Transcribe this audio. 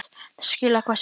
Þessi kveðja yljaði.